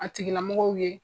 A tigi lamɔgɔw ye.